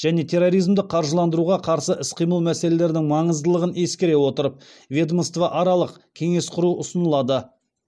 және терроризмді қаржыландыруға қарсы іс қимыл мәселелерінің маңыздылығын ескере отырып ведомство аралық кеңес құру ұсынылады